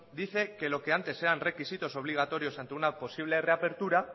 dice que lo que antes eran requisitos obligatorios ante una posible reapertura